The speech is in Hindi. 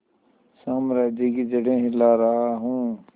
साम्राज्य की जड़ें हिला रहा हूं